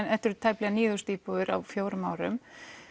þetta eru tæplega níu þúsund íbúðir á fjórum árum